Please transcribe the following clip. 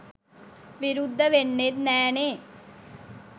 විරුද්ධ වෙන්නෙත් නෑනේ.